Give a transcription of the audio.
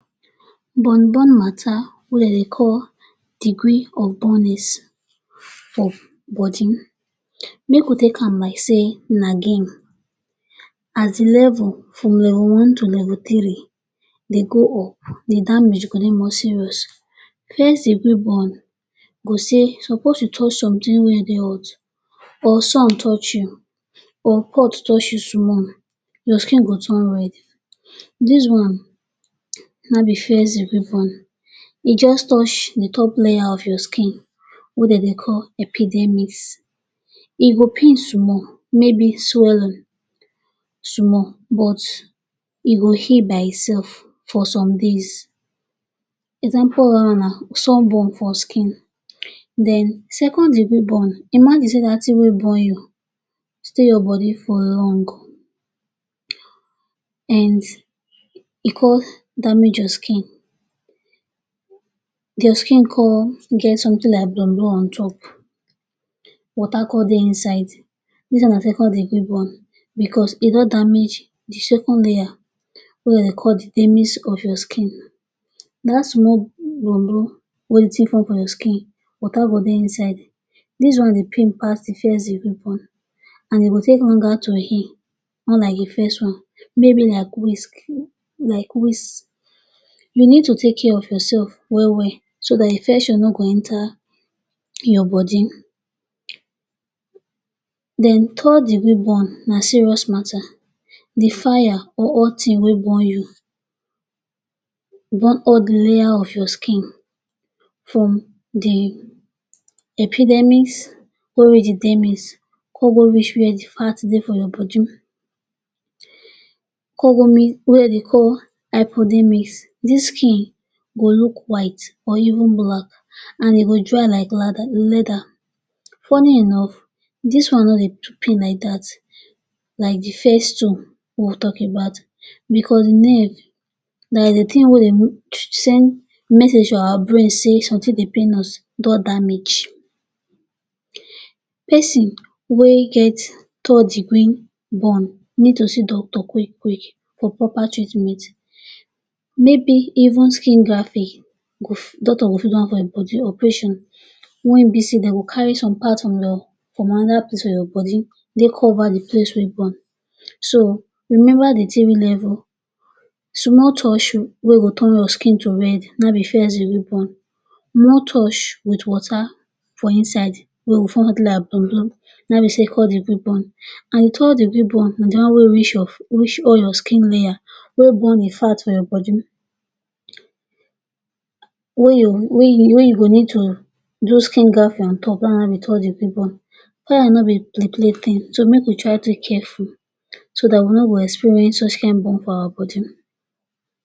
Burn-Burn matter wey de dey call degree of burnings of body. Make we take am like sey na game. As the level, from level one to level three dey go up the damage go dey more serious. First degree burn go say suppose you touch something wey dey hot or some touch you, or pot touch you small, your skin go turn red. Dis one, na be first degree burn. E juz touch the top layer of your skin wey de dey call epidermis. E go pain small, maybe swelling small, but e go heal by itsef for some days. Example of dat one na sunburn for skin. Then, second degree burn. Imagine sey dat tin wey burn you stay your body for long, and e con damage your skin, your skin con get something like blon-blon on top, water con dey inside. Dis one na second degree burn becos e don damage the second layer wey de dey call the dermis of your skin. Dat small blon-blon wey the tin form for your skin, water go dey inside. Dis one dey pain pass the first degree burn an e go take longer to heal unlike the first one. Maybe like wisk, like weeks. You need to take care of yoursef well-well so dat infection no go enter your body. Then third degree burn na serious matter. The fire or hot tin wey burn you burn all the layer of your skin from the epidermis go reach the dermis, con go reach where the fat dey for your body con go meet wey de dey hypodermis. Dis skin go look white or even black and e go dry like ladder leather. Funny enough, dis one no dey pain like dat—like the first two wey we talk about—becos nerve dat is the tin wey dey send message to our brain sey something dey pain us don damage. Peson wey get third degree burn need to see doctor quick-quick for proper treatment. Maybe even skin grafting go doctor go fit do am for ein body. Operation wen be sey de go carry some part from your from another place for your body dey cover the place wey burn. So, remember the three level: Small touch you wey go turn your skin to red, na ein be first degree burn. More touch with water for inside wey go form like blon-blon na ein be second degree burn An third degree burn na the one wey reach of reach all your skin layer wey burn the fat for your body wey your wey you wey you go need to do skin grafting on top, na ein be third degree burn. Fire no be play-play tin so make we try dey careful so dat we no go experience such kain burn for our body.